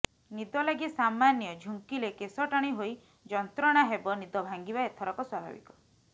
ନିଦ ଲାଗି ସାମାନ୍ୟ ଝୁଙ୍କିଲେ କେଶ ଟାଣି ହୋଇ ଯନ୍ତ୍ରଣା ହେବ ନିଦ ଭାଙ୍ଗିବା ଏଥରକ ସ୍ବାଭାବିକ